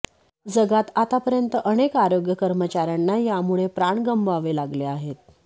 जगात आतापर्यंत अनेक आरोग्य कर्मचाऱ्यांना यामुळे प्राण गमवावे लागले आहेत